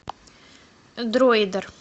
дроидер